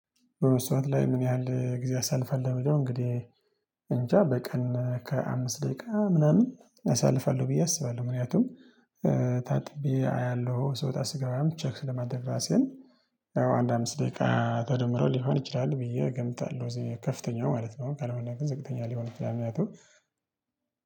በመስመር ላይ ምን ያህል ጊዜ አሳልፋለሁ ሚለው? እንግዲህ እንጃ በቀን ከአምስት ደቂቃ ምናምን አሳልፋለሁ ብዬ አስባለሁ ምክንያቱም ታጥቤ አያለሁ ስወጣ ስገባም ቼክ ስለማደርግ ራሴን። አምስት ደቂቃ ተደምሮ ሊሆን ይችላል ብዬ እገምታለሁ። እዚህ ከፍተኛው ማለት ነው ካልሆነ ግን ዝቅተኛ ሊሆን ይችላል። ምክንያቱም